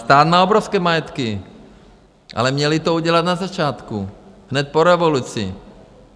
Stát má obrovské majetky, ale měli to udělat na začátku, hned po revoluci.